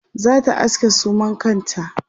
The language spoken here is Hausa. zata aske suman kanta